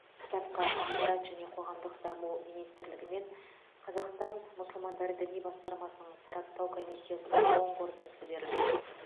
кітапқа ақпарат және қоғамдық даму министрлігі мен қазақстан мұсылмандар діни басқармасының сараптау комиссиясының оң қорытындысы берілген